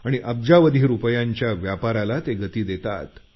आणि अब्जावधी रुपयांच्या व्यापाराला ते गती देतात